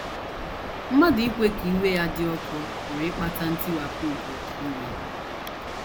Mmadụ ikwe ka iwe ya “ dị ọkụ ” pụrụ ịkpata ntiwapụ nke oké iwe!